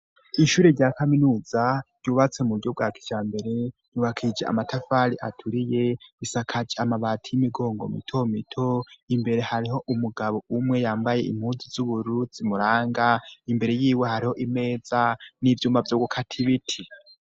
Ishure rya kaminuza ryubatse mu bujryo bwajambere ryubakishije amatafari aturiye isakaje amabati y'imigongo mito mito imbere hariho umugabo umwe yambaye impuzu z'ubururu muranga imbere y'iwe hariho imeza n'ivyuma vyogukata ibiti.